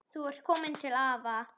Þú ert komin til afa.